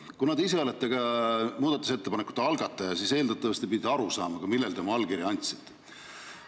Kuna te ise olete ka muudatusettepanekute algataja, siis eeldatavasti te pidite aru saama, millele te oma allkirja andsite.